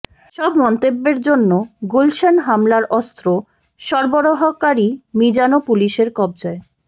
সব মন্তব্যের জন্য গুলশান হামলার অস্ত্র সরবরাহকারী মিজানও পুলিশের কবজায়